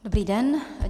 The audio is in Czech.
Dobrý den.